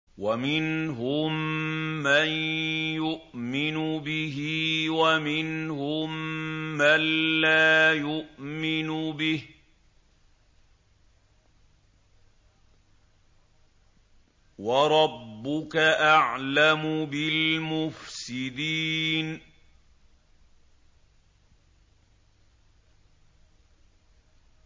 وَمِنْهُم مَّن يُؤْمِنُ بِهِ وَمِنْهُم مَّن لَّا يُؤْمِنُ بِهِ ۚ وَرَبُّكَ أَعْلَمُ بِالْمُفْسِدِينَ